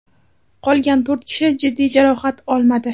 Qolgan to‘rt kishi jiddiy jarohat olmadi.